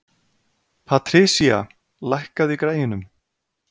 Patrisía, lækkaðu í græjunum.